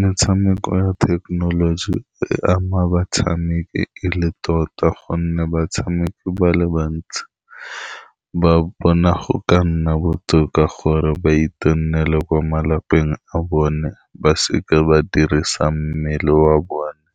Metshameko ya thekenoloji e ama batshameki e le tota, ka gonne batshameki ba le bantsi ba bona go ka nna botoka gore ba ko malapeng a bone, ba seka ba dirisang mmele wa bone